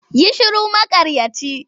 Yi shiru maƙaryaci!